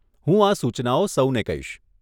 હું આ સૂચનાઓ સૌને કહીશ.